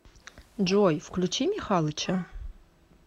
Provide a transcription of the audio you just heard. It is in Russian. джой включи михалыча